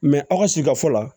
aw ka sigika fɔlɔ la